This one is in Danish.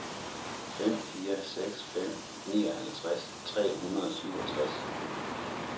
fem fire seks fem nioghalvtreds tre hundrede og syvogtres